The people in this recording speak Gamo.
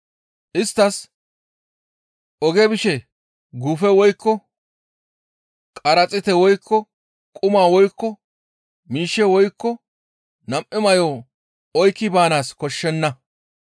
Isttas, «Oge bishe guufe woykko, qaraxiite woykko, quma woykko, miishshe woykko nam7u may7o oykki baanaas koshshenna.